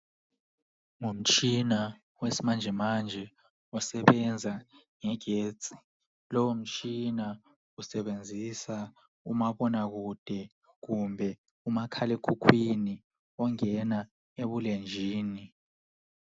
Ngumtshina wesimanje manje osebenza ngegetsi, lowo mtshina usebenzisa umabona kude kumbe umakhala ekhukhwini ongena ebulenjini.